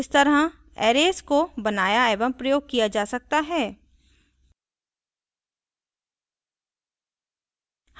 इस तरह arrays को बनाया एवं प्रयोग किया जा सकता है